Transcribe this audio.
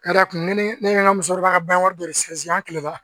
Ka d'a kan ne ni ne ka musokɔrɔba ka bangan wari dɔ de sinzin an kilela